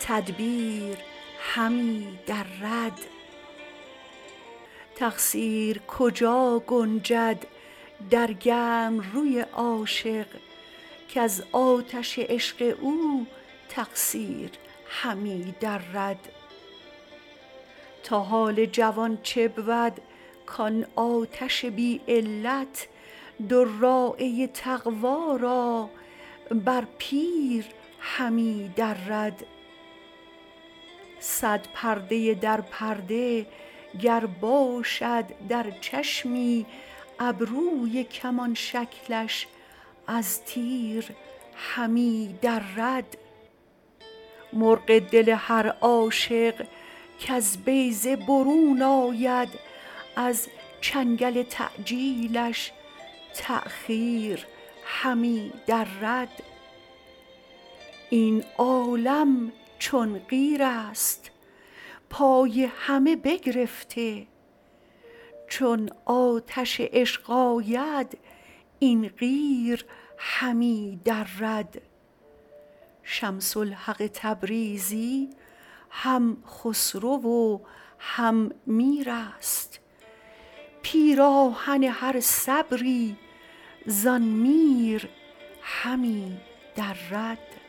تدبیر همی درد تقصیر کجا گنجد در گرم روی عاشق کز آتش عشق او تقصیر همی درد تا حال جوان چه بود کان آتش بی علت دراعه تقوا را بر پیر همی درد صد پرده در پرده گر باشد در چشمی ابروی کمان شکلش از تیر همی درد مرغ دل هر عاشق کز بیضه برون آید از چنگل تعجیلش تأخیر همی درد این عالم چون قیرست پای همه بگرفته چون آتش عشق آید این قیر همی درد شمس الحق تبریزی هم خسرو و هم میرست پیراهن هر صبری زان میر همی درد